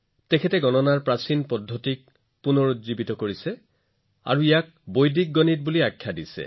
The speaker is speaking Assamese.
তেওঁ গণনাৰ প্ৰাচীন পদ্ধতিবোৰ পুনৰুজ্জীৱিত কৰিছিল আৰু ইয়াক বৈদিক গণিত নাম দিছিল